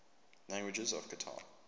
languages of qatar